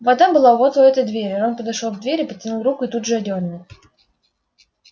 вода была вот у этой двери рон подошёл к двери протянул руку и тут же отдёрнул